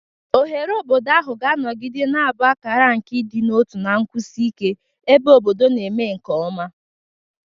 Oghere obodo ahụ ga-anọgide na-abụ akara nke ịdị n'otu na nkwụsi ike, ebe obodo na-eme nke ọma.